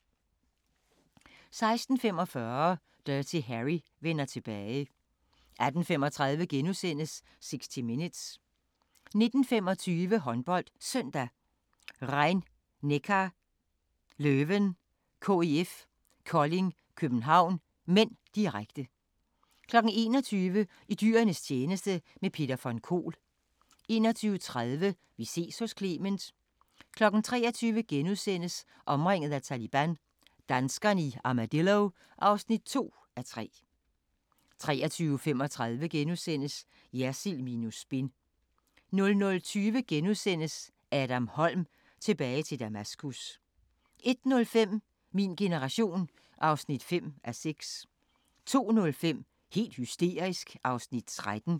16:45: Dirty Harry vender tilbage 18:35: 60 Minutes * 19:25: HåndboldSøndag: Rhein-Neckar Löwen-KIF Kolding København (m), direkte 21:00: I dyrenes tjeneste – med Peter von Kohl 21:30: Vi ses hos Clement 23:00: Omringet af Taliban – danskerne i Armadillo (2:3)* 23:35: Jersild minus spin * 00:20: Adam Holm – Tilbage til Damaskus * 01:05: Min generation (5:6) 02:05: Helt hysterisk (13:32)